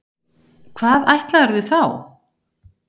Hvað ætlaðirðu þá?